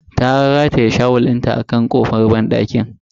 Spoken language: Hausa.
Ta rataye shawul dinta a kan kofan banɗakin.